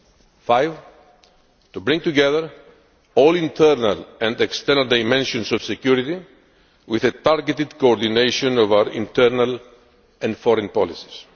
Fifthly, to bring together all internal and external dimensions of security with a targeted coordination of our internal and foreign policies.